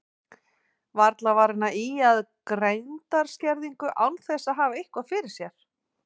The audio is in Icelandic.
Varla var hann að ýja að greindarskerðingu án þess að hafa eitthvað fyrir sér.